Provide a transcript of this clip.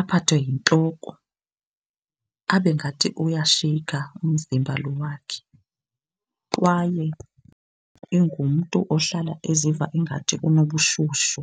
aphathwe yintloko, abe ngathi uyasheyikha umzimba lo wakhe. Kwaye ingumntu ohlala eziva ingathi unobushushu.